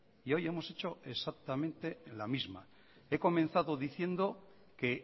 y hoy hemos hecho exactamente la misma he comenzado diciendo que